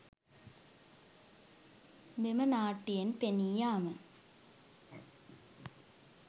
මෙම නාට්‍යයෙන් පෙනී යාම